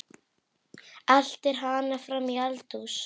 Eltir hana fram í eldhús.